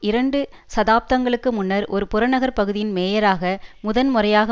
இரண்டு சதாப்தங்களுக்கு முன்னர் ஒரு புறநகர் பகுதியின் மேயராக முதன் முறையாக